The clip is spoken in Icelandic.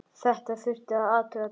Þetta þurfti að athuga betur.